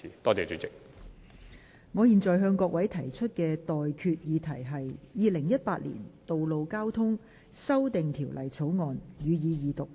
我現在向各位提出的待決議題是：《2018年道路交通條例草案》，予以二讀。